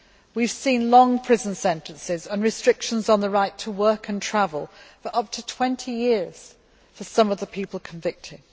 We have seen very long prison sentences and restrictions on the right to work and travel for up to 20 years for some of the people convicted.